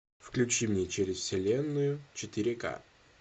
включи мне через вселенную четыре ка